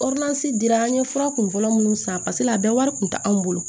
dira an ye fura kunfɔlɔ minnu san paseke a bɛɛ wari kun tɛ anw bolo